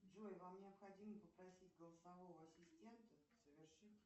джой вам необходимо попросить голосового ассистента совершить